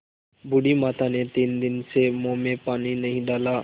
बूढ़ी माता ने तीन दिन से मुँह में पानी नहीं डाला